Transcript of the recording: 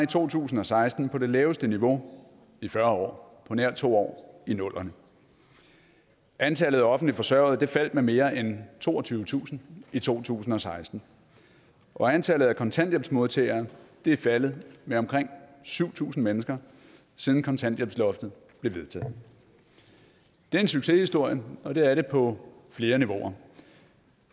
to tusind og seksten på det laveste niveau i fyrre år på nær to år i nullerne antallet af offentligt forsørgede faldt med mere end toogtyvetusind i to tusind og seksten og antallet af kontanthjælpsmodtagere er faldet med omkring syv tusind mennesker siden kontanthjælpsloftet blev vedtaget det er en succeshistorie og det er det på flere niveauer